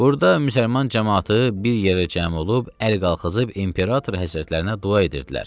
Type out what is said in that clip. Burada müsəlman camaatı bir yerə cəm olub əl qalxızıb imperator həzrətlərinə dua edirdilər.